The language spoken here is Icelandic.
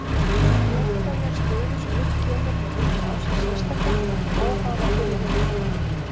Sérhverja stöðu sem upp kemur má líta á sem sérstaka, óháða fyrri leikjum.